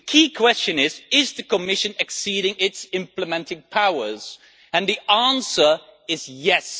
The key question is whether the Commission is exceeding its implementing powers and the answer is yes'.